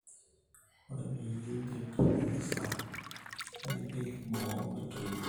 ore peyie in`dip atekesa nepik boo metoito